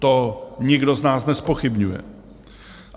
To nikdo z nás nezpochybňuje.